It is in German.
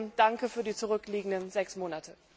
Trotzdem danke für die zurückliegenden sechs Monate!